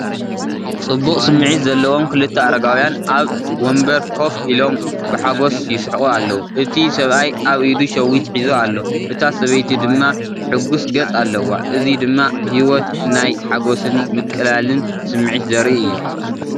ጽቡቕ ስምዒት ዘለዎም ክልተ ኣረጋውያን ኣብ መንበር ኮፍ ኢሎም ብሓጎስ ይስሕቑ ኣለዉ። እቲ ሰብኣይ ኣብ ኢዱ ሸዊት ሒዙ ኣሎ፡ እታ ሰበይቲ ድማ ሕጉስ ገጽ ኣለዋ። እዚ ድማ ህይወት ናይ ሓጎስን ምቕላልን ስምዒት ዘርኢ እዩ።